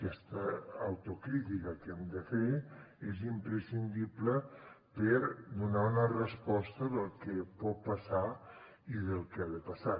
aquesta autocrítica que hem de fer és imprescindible per donar una resposta del que pot passar i del que ha de passar